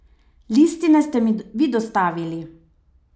Listine ste mi vi dostavili!